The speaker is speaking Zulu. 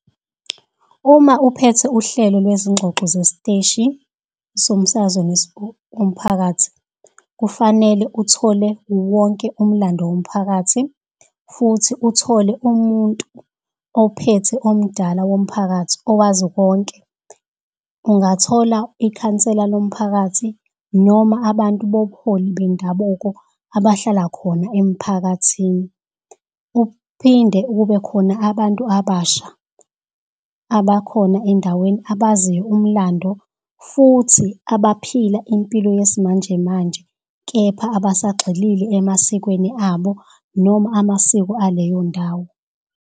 Uma uphethe uhlelo lwezingxoxo zesiteshi somsakazo umphakathi, kufanele uthole wonke umlando womphakathi futhi uthole umuntu ophethe omdala womphakathi owazi konke. Ungathola ikhansela lomphakathi noma abantu bobuholi bendabuko abahlala khona emphakathini. Uphinde ukube khona abantu abasha abakhona endaweni abaziyo umlando futhi abaphila impilo yesimanjemanje, kepha abasagxilile emasikweni abo noma amasiko aleyo ndawo.